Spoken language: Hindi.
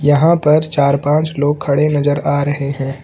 यहां पर चार पांच लोग खड़े नजर आ रहे हैं।